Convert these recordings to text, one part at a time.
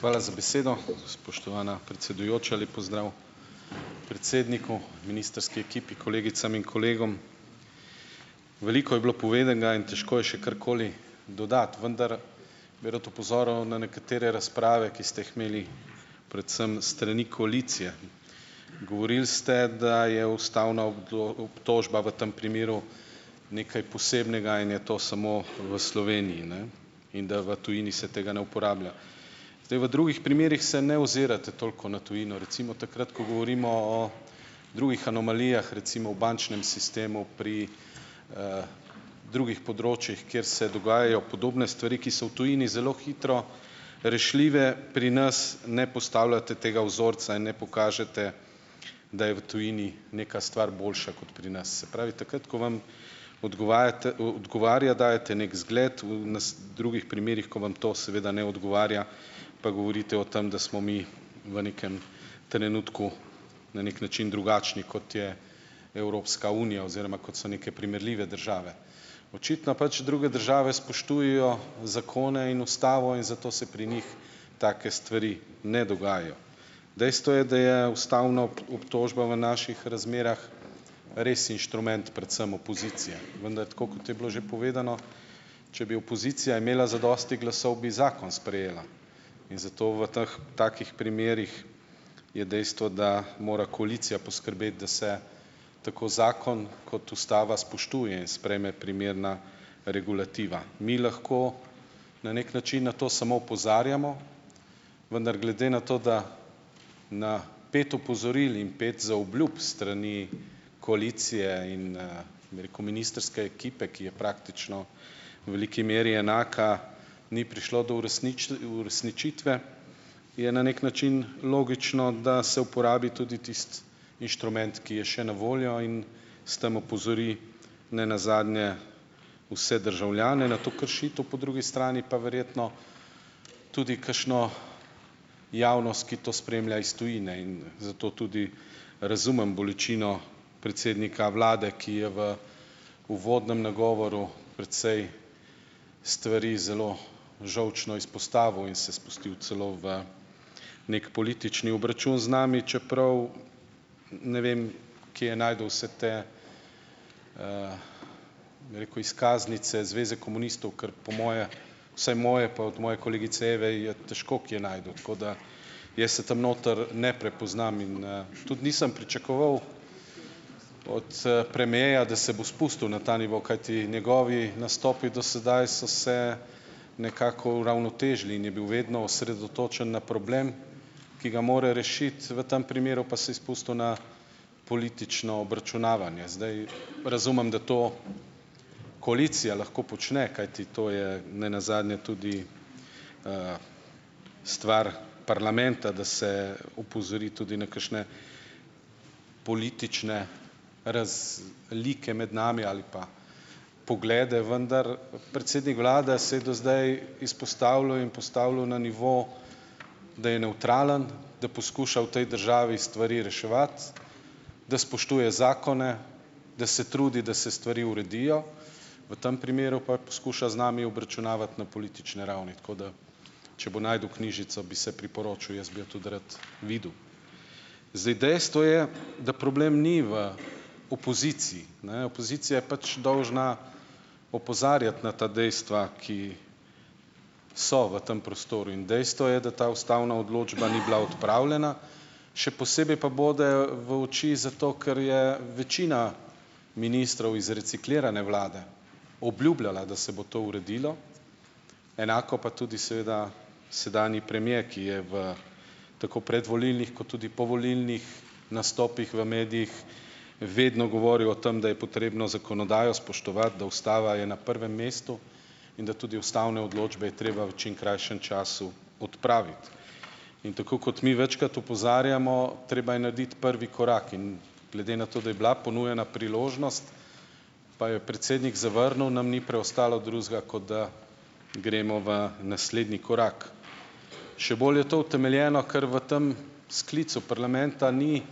Hvala za besedo. Spoštovana predsedujoča, lep pozdrav predsedniku, ministrski ekipi, kolegicam in kolegom! Veliko je bilo povedanega in težko je še karkoli dodati, vendar bi rad opozoril na nekatere razprave, ki ste jih imeli predvsem s strani koalicije. Govorili ste, da je ustavna obtožba v tem primeru nekaj posebnega in je to samo v Sloveniji, in da v tujini se tega ne uporablja. Zdaj, v drugih primerih se ne ozirate toliko na tujino. Recimo, takrat ko govorimo o drugih anomalijah, recimo o bančnem sistemu pri drugih področjih, kjer se dogajajo podobne stvari, ki so v tujini zelo hitro rešljive, pri nas ne postavljate tega vzorca in ne pokažete, da je v tujini neka stvar boljša kot pri nas. Se pravi, takrat ko vam odgovarja, dajete neki zgled, v drugih primerih, ko vam to seveda ne odgovarja, pa govorite o tem, da smo mi v nekem trenutku na neki način drugačni, kot je Evropska unija oziroma kot so neke primerljive države. Očitno pač druge države spoštujejo zakone in ustavo in zato se pri njih take stvari ne dogajajo. Dejstvo je, da je ustavna obtožba v naših razmerah res inštrument, predvsem opozicije, vendar tako kot je bilo že povedano, če bi opozicija imela zadosti glasov, bi zakon sprejela in zato v teh, takih primerih je dejstvo, da mora koalicija poskrbeti, da se tako zakon kot ustava spoštuje in sprejme primerna regulativa. Mi lahko na neki način na to samo opozarjamo, vendar glede na to, da na pet opozoril in pet zaobljub s strani koalicije in, bi rekel ministrske ekipe, ki je praktično v veliki meri enaka, ni prišlo do uresničitve, je na neki način logično, da se uporabi tudi tisti inštrument, ki je še na voljo, in s tem opozori ne nazadnje vse državljane na to kršitev, po drugi strani pa verjetno tudi kakšno javnost, ki to spremlja iz tujine in zato tudi razumem bolečino predsednika vlade, ki je v uvodnem nagovoru precej stvari zelo žolčno izpostavil in se spustil celo v neki politični obračun z nami, čeprav ne vem, kje je našel vse te, bi rekel, izkaznice zveze komunistov, ker po moje, vsaj moje pa od moje kolegice Eve je težko kje našel, tako da jaz se tam noter ne prepoznam in, tudi nisem pričakoval od, premierja, da se bo spustil na ta nivo, kajti njegovi nastopi do sedaj so se nekako uravnotežili in je bil vedno osredotočen na problem, ki ga mora rešiti, v tem primeru pa se je spustil na politično obračunavanje. Zdaj razumem, da to koalicija lahko počne, kajti to je ne nazadnje tudi stvar parlamenta, da se opozori tudi na kakšne politične razlike med nami ali pa poglede, vendar predsednik vlade se je do zdaj izpostavljal in postavljal na nivo, da je nevtralen, da poskuša v tej državi stvari reševati, da spoštuje zakone, da se trudi, da se stvari uredijo, v tem primeru pa poskuša z nami obračunavati na politični ravni. Tako da če bo našel knjižico, bi se priporočil, jaz bi jo tudi rad videl. Zdaj, dejstvo je, da problem ni v opoziciji, Opozicija je pač dolžna opozarjati na ta dejstva, ki so v tem prostoru. In dejstvo je, da ta ustavna odločba ni bila odpravljena. Še posebej pa bode v oči zato, ker je večina ministrov iz reciklirane vlade obljubljala, da se bo to uredilo, enako pa tudi seveda sedanji premier, ki je v tako predvolilnih kot tudi povolilnih nastopih v medijih vedno govoril o tem, da je potrebno zakonodajo spoštovati, da ustava je na prvem mestu in da tudi ustavne odločbe je treba v čim krajšem času odpraviti. In tako kot mi večkrat opozarjamo, treba je narediti prvi korak. In glede na to, da je bila ponujena priložnost, pa jo je predsednik zavrnil, nam ni preostalo drugega, kot da gremo v naslednji korak. Še bolj je to utemeljeno, ker v tem sklicu parlamenta ni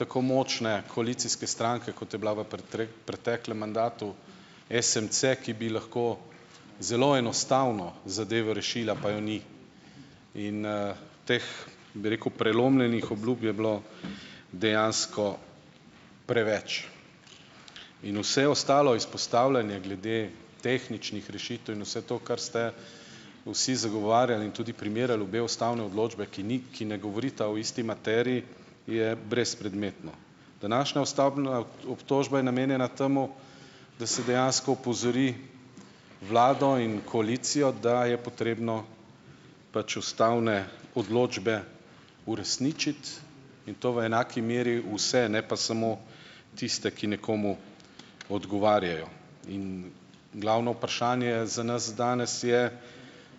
tako močne koalicijske stranke, kot je bila v preteklem mandatu SMC, ki bi lahko zelo enostavno zadevo rešila, pa jo ni. In, teh, bi rekel, prelomljenih obljub je bilo dejansko preveč. In vse ostalo izpostavljanje glede tehničnih rešitev in vse to, kar ste vsi zagovarjali in tudi primerjali obe ustavni odločbi, ki ni, ki ne govorita o isti materiji, je brezpredmetno. Današnja ustavna obtožba je namenjena temu, da se dejansko opozori vlado in koalicijo, da je potrebno pač ustavne odločbe uresničiti in to v enaki meri vse, ne pa samo tiste, ki nekomu odgovarjajo. In glavno vprašanje za nas danes je,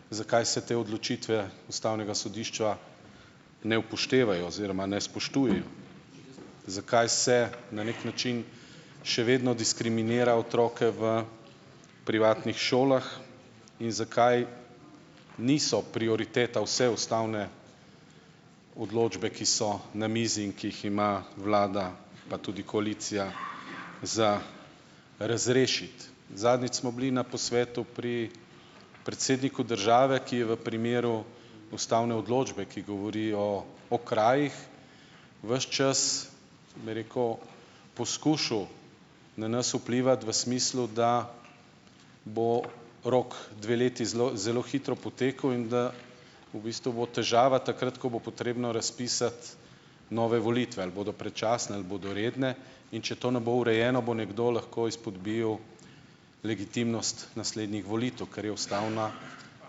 zakaj se te odločitve ustavnega sodišča ne upoštevajo oziroma ne spoštujejo. Zakaj se na neki način še vedno diskriminira otroke v privatnih šolah in zakaj niso prioriteta vse ustavne odločbe, ki so na mizi in ki jih ima vlada, pa tudi koalicija za razrešiti. Zadnjič smo bili na posvetu pri predsedniku države, ki je v primeru ustavne odločbe, ki govori o okrajih, ves čas, bi rekel, poskušal na nas vplivati v smislu, da bo rok dve leti zelo zelo hitro potekel in da v bistvu bo težava takrat, ko bo potrebno razpisati nove volitve, ali bodo predčasne ali bodo redne. In če to ne bo urejeno, bo nekdo lahko izpodbijal legitimnost naslednjih volitev, kar je ustavna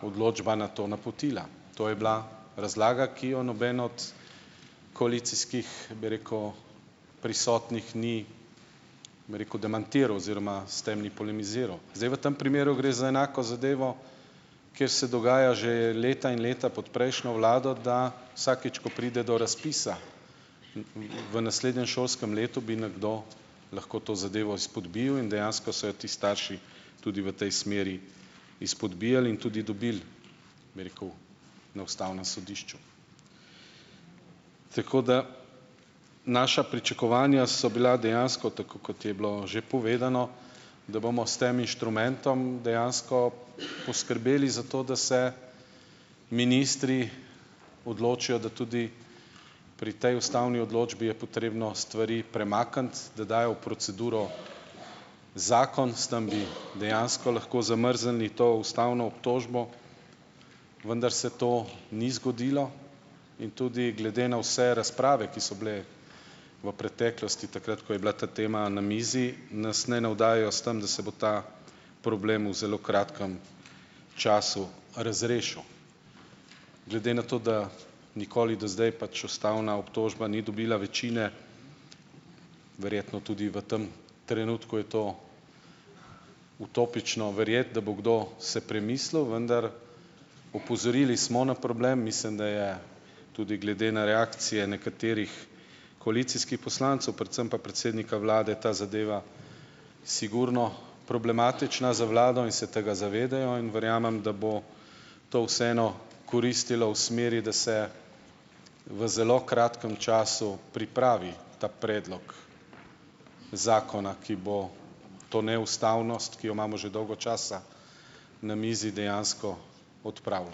odločba na to napotila. To je bila razlaga, ki jo noben od koalicijskih, bi rekel, prisotnih ni, bi rekel, demantiral oziroma s tem ni polemiziral. Zdaj v tem primeru gre za enako zadevo, kjer se dogaja že leta in leta pot prejšnjo vlado, da vsakič, ko pride do razpisa, v naslednjem letu bi nekdo šolskem lahko to zadevo izpodbijal in dejansko so jo ti starši tudi v tej smeri izpodbijali in tudi dobili, bi rekel, na ustavnem sodišču. Tako da naša pričakovanja so bila dejansko, tako kot je bilo že povedano, da bomo s tem inštrumentom dejansko poskrbeli za to, da se ministri odločijo, da tudi pri tej ustavni odločbi je potrebno stvari premakniti, da dajo v proceduro zakon, s tam bi dejansko lahko zamrznili to ustavno obtožbo, vendar se to ni zgodilo. In tudi glede na vse razprave, ki so bile v preteklosti, takrat ko je bila ta tema na mizi, nas ne navdajajo s tam, da se bo ta problem v zelo kratkem času razrešil. Glede na to, da nikoli do zdaj pač ustavna obtožba ni dobila večine, verjetno tudi v tem trenutku je to utopično verjeti, da bo kdo se premislil. Vendar opozorili smo na problem. Mislim, da je tudi glede na reakcije nekaterih koalicijski poslancev, predvsem pa predsednika vlade ta zadeva sigurno problematična za vlado in se tega zavedajo in verjamem, da bo to vseeno koristilo v smeri, da se v zelo kratkem času pripravi ta predlog zakona, ki bo to neustavnost, ki jo imamo že dolgo časa na mizi, dejansko odpravil.